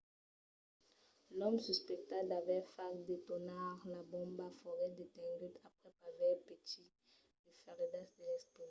l'òme suspectat d'aver fach detonar la bomba foguèt detengut aprèp aver patit de feridas de l'explosion